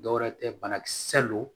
Dɔwɛrɛ tɛ banakisɛ don